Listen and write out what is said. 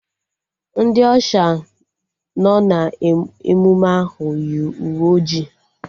Ndị Ọsha nọ n'emụme ahụ yi uwe ojii